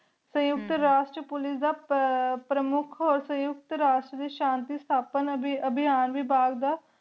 ਸਯੁਕਤ ਰਸ ਚ police ਦਾ ਪ੍ਰਮੁਖ ਹੋ ਸਯੁਕਤ ਰਸ ਦੇ ਸ਼ਾਂਤੀ ਸ਼ਾਥਾਪਨ ਅਭਿਹਾਂ ਵਿਬਾਘ ਦਾ